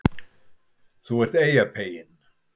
ÞÚ ERT EYJAPEYINN